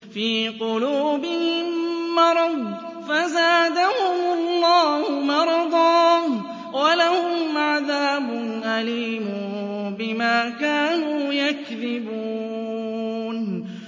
فِي قُلُوبِهِم مَّرَضٌ فَزَادَهُمُ اللَّهُ مَرَضًا ۖ وَلَهُمْ عَذَابٌ أَلِيمٌ بِمَا كَانُوا يَكْذِبُونَ